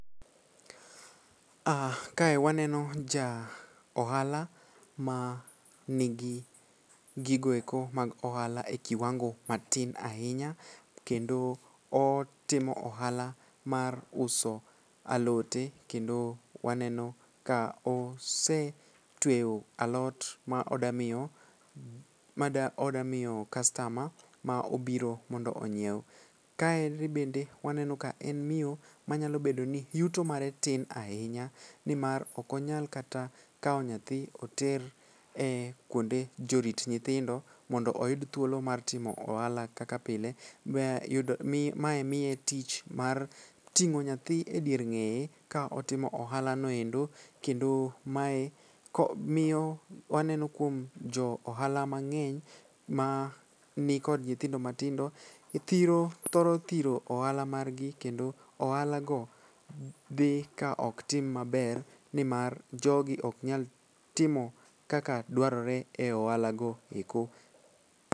Ah kae waneno ja ohala ma nigi gigoeko mag ohala e kiwango matin ahinya kendo otimo ohala mar uso alote kendo waneno ka osetweyo alot ma odamiyo kastama ma obiro mondo onyiew. Kaeri bende waneno ka en miyo manyalo bedo ni yuto mare tin ahinya nimar okonyal kata kawo nyathi oter e kuonde jorit nyithindo mondo oyud thuolo mar timo ohala kaka pile mae miye tich mar ting'o nyathi e dier ng'eye kaotimo ohalanoendo kendo mae miyo waneno kuom johala mang'eny ma nikod nyithindo matindo thoro thiro ohala margi kendo ohalago dhi kaok tim maber nimar jogi oknyal timo kaka dwarore e ohalago eko.